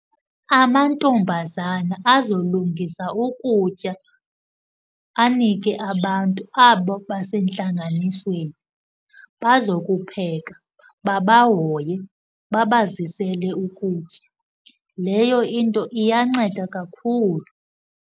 Amantombazana azolungisa ukutya, anike abantu abo basentlanganisweni. Bazokupheka, babahoye, babazisele ukutya. Leyo into iyanceda kakhulu.